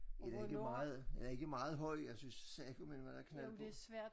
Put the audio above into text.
Er det ikke meget er den ikke meget høj jeg synes sagomelme der er knald på